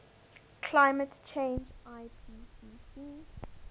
climate change ipcc